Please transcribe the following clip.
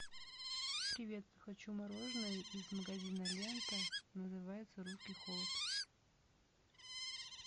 привет хочу мороженое из магазина лента называется русский холод